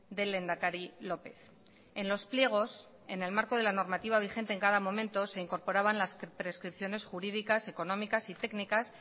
del lehendakari lópez en los pliegos en el marco de la normativa vigente en cada momento se incorporaban las prescripciones jurídicas económicas y técnicas